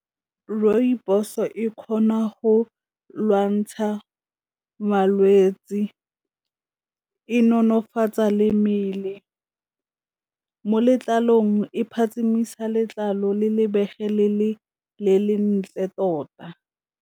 Rooibos e kgona go lwantsha malwetse, e nonofatsa le mmele, mo letlalong e phatsimisa letlalo le lebege le le lentle tota.